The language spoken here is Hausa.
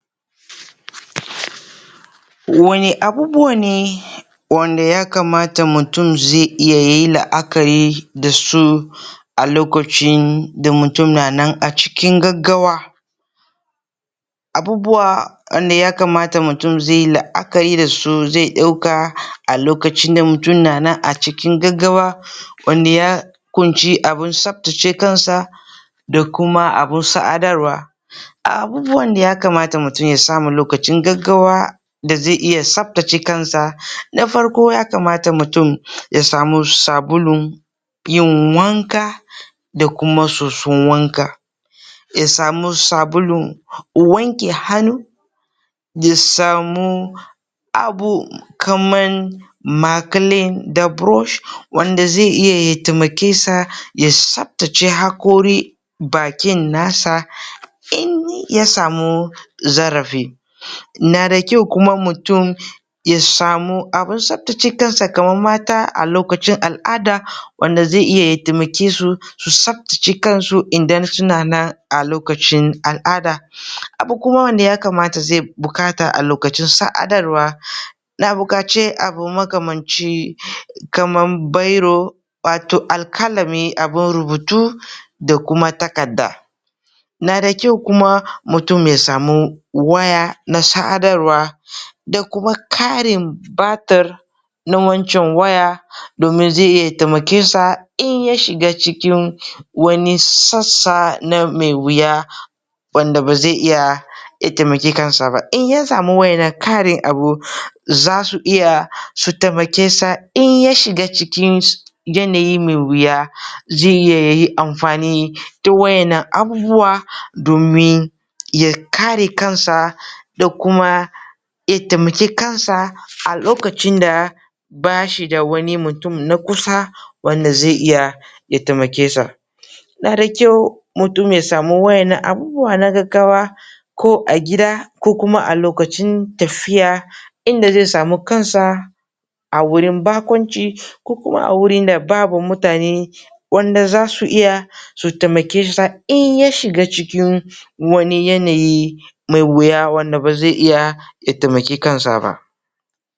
Wane abubuwa ne wanda ya kamata mutum zai iya yayi la'akari da su a lokacin da mutum na nan a cikin gaggawa? Abubuwa wanda ya kamata mutum zai yi la'akari da su zai ɗauka a lokacin da mutum na nan a cikin gaggawa wanda ya ƙunshi abun tsaftace kansa da kuma abun sadarwa A abubuwan da mutum ya kamata ya samu lokacin gaggawa da zai iya tsaftace kansa, na farko ya kamata mutum ya samu sabulun yin wanka da kuma soson wanka, ya samu sabulun wanke hannu, ya samu abu kamar makilin da burosh wanda zai iya ya taimake sa ya tsaftace haƙorin bakin nasa. in ya samu zarafi Na d kyau kuma mutum ya samu abun tsaftace kansa kamar mata a lokacin al'ada, wanda zai iya ya taimake su su tsaftace kansu idan suna nan a lokacin al'ada Abu kuma wanda ya kamata zai buƙata a lokacin sadarwa yana bukace abinda ya kamaci kamar biro wato alƙalami abin rubutu da kuma takarda. Na da kyau kuma mutum ya samu waya na sadarwa da kuma ƙarin batir na wancen waya, domin zai iya ya taimake sa in ya shiga cikin wani sassa na me wuya wanda ba zai iya ya taimaki kansa ba. In ya samu waɗannan ƙarin abu zasu iya su taimake sa in ya shiga cikin yanayi mai wuya, zai iya yayi amfani da waɗannan abubuwa domin ya kare kansa da kuma ya taimaki kansa a lokacin da bashi da wani mutum na kusa wanda zai iya ya taimake sa Na da kyau mutum ya samu waɗannan abubuwa na gaggawa ko a gida ko kuma a lokacin tafiya inda zai samu kansa a wurin baƙunci ko kuma a wurin da babu mutane wanda zasu iya su taimake sa in ya shiga cikin wani yanayi mai wuya wanda ba zai iya ya taimaki kansa ba.